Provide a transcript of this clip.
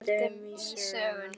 Við höldum í söguna.